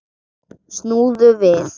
Snúðu við.